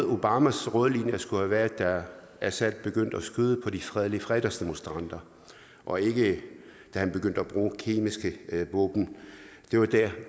obamas røde linje skulle have været da assad begyndte at skyde på de fredelige fredagsdemonstranter og ikke da han begyndte at bruge kemiske våben